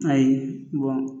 Ayi